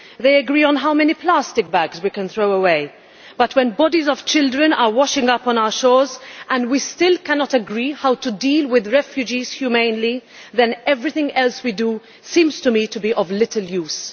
They agree on how many plastic bags we can throw away, but when bodies of children are washing up on our shores and we still cannot agree how to deal with refugees humanely, then everything else we do seems to me to be of little use.